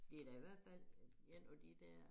Det da i hvert fald en af de dér